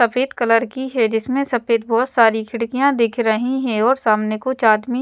सफेद कलर की हैं जिसमें सफेद बहोत सारी खिड़कियां दिख रही हैं और सामने कुछ आदमी--